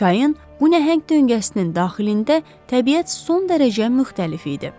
Çayın bu nəhəng döngəsinin daxilində təbiət son dərəcə müxtəlif idi.